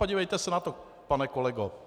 Podívejte se na to, pane kolego.